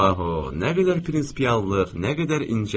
Bax o, nə qədər prinsipyallıq, nə qədər incəlik.